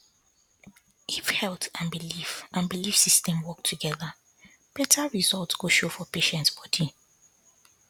if health and belief and belief system work together better result go show for patient body